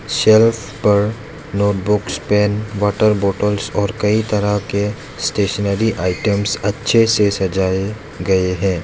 Self पर notebooks pen water bottles और कई तरह के स्टेशनरी आइटम्स अच्छे से सजाए गए हैं।